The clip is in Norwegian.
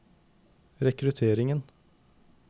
rekrutteringen